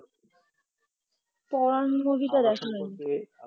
পড়ান move তা দেখা নাই